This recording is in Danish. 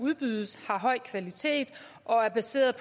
udbydes har høj kvalitet og er baseret